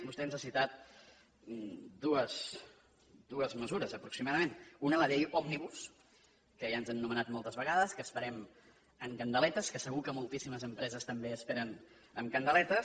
vostè ens ha citat dues mesures aproximadament una la llei òmnibus que ja ens han anomenat moltes vegades que esperem amb candeletes que segur que moltíssimes empreses també esperen amb candeletes